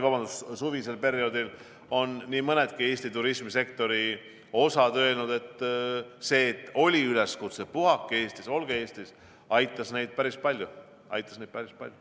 Ja suvisel perioodil on minu teada nii mõnedki Eesti turismisektori osad öelnud, et see, et oli üleskutse "Puhake Eestis, olge Eestis!", aitas neid päris palju.